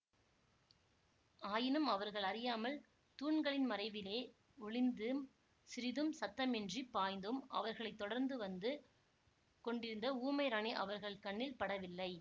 ஆயினும் அவர்கள் அறியாமல் தூண்களின் மறைவிலே ஒளிந்தும் சிறிதும் சத்தமின்றிப் பாய்ந்தும் அவர்களை தொடர்ந்து வந்து கொண்டிருந்த ஊமை ராணி அவர்கள் கண்ணில் படவில்லை